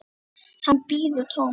Hann bíður dóms.